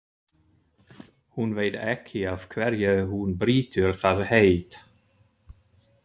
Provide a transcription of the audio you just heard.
Hún veit ekki af hverju hún brýtur það heit.